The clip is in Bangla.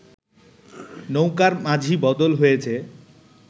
নৌকার মাঝি বদল হয়েছে